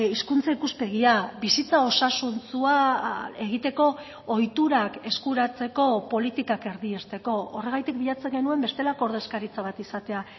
hizkuntza ikuspegia bizitza osasuntsua egiteko ohiturak eskuratzeko politikak erdiesteko horregatik bilatzen genuen bestelako ordezkaritza bat izatea